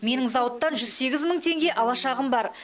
менің зауыттан жүз сегіз мың теңге алашағым бар